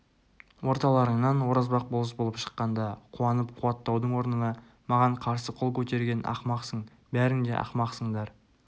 орталарыңнан оразбақ болыс болып шыққанда қуанып қуаттаудың орнына маған қарсы қол көтерген ақымақсың бәрің де ақмақсыңдар